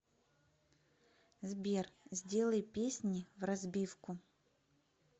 сбер сделай песни вразбивку